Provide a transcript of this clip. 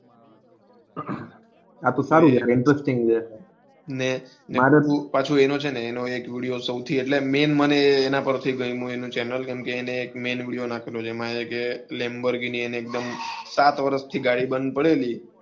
આતો સારું છે interesting છે ને પાછો છે ને એનો એક સૌથી એટલે video છે ને channel ની મૈન વિડિઓ નાખેલો છે lembhorghini ને એક્દુમ સાત વરસ થી ગાડી બેન્ડ પડેલી.